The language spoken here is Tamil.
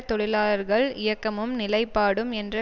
தொழிலாளர்கள் இயக்கமும் நிலைப்பாடும் என்ற